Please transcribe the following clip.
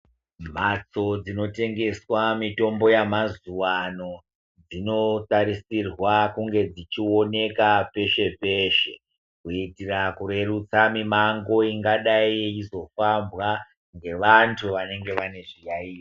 Mhatso dzinotengeswa mitombo yemazuva ano dzinotarisirwa kunge dzichioneka peshe peshe kuitira kurerutsa mimango ingadai yeizofambwa ngevantu vanenge vane zviyayiyo.